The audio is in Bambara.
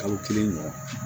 Kalo kelen ɲɔgɔn